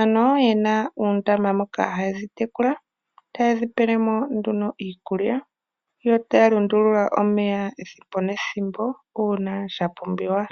ano yena uundama moka haya tekula. Ta ye dhi pele mo nduno iikulya, yo ta ya lundulula omeya ethimbo nethimbo uuna sha pumbiwa.